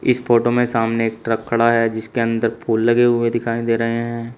इस फोटो में सामने एक ट्रक खड़ा है जिसके अंदर फूल लगे हुए दिखाई दे रहे हैं।